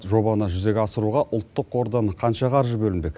жобаны жүзеге асыруға ұлттық қордан қанша қаржы бөлінбек